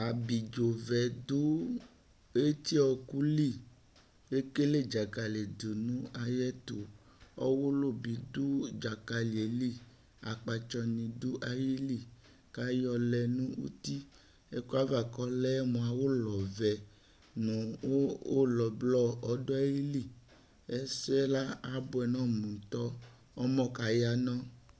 Abidzovɛ dʋ etiɔɔkʋ li ,k'ekele Dzakalɩ dʋ n'ayɛtʋ ,ɔwʋlʋ bɩ dʋ dzakalɩe li akpatsɔ ni dʋ ayili k'ayɔ lɛ n'uti ɛkʋɛava k'ɔlɛmʋ ʋlɔvɛ nʋ ʋlɔ blɔ ɔdʋ ayili Ɛsɛ la ,abʋɛ n'ɔmʋ ntɔ ! Ɔmɔ kaya nɔ